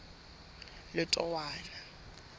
letowana